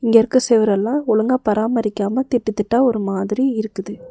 இங்க இருக்க செவரெல்லாம் ஒழுங்கா பராமரிக்காம திட்டு திட்டா ஒரு மாதிரி இருக்குது.